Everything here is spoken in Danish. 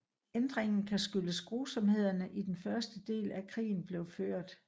Ændringen kan skyldes grusomhederne i den første del af krigen blev ført